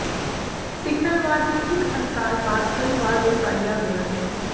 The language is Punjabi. ਸਿਗਨਲ ਵਾਰ ਦੀ ਇੱਕ ਅੰਤਰਾਲ ਬਾਅਦ ਕਈ ਵਾਰ ਦੁਹਰਾਇਆ ਗਿਆ ਹੈ